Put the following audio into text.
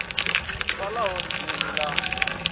d uvha ḽa holodeni ḽa